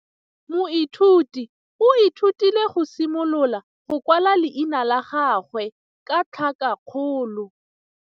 Moithuti o ithutile go simolola go kwala leina la gagwe ka tlhakakgolo.